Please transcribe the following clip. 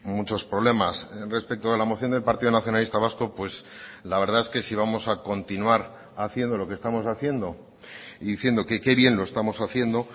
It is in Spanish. muchos problemas respecto a la moción del partido nacionalista vasco pues la verdad es que si vamos a continuar haciendo lo que estamos haciendo y diciendo que qué bien lo estamos haciendo